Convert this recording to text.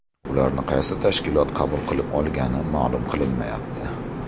Ularni qaysi tashkilot qabul qilib olgani ma’lum qilinmayapti.